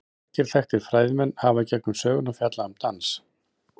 Margir þekktir fræðimenn hafa í gegnum söguna fjallað um dans.